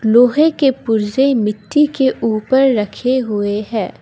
लोहे के पुर्जे मिट्टी के ऊपर रखे हुए हैं।